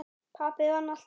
Pabbi vann alltaf.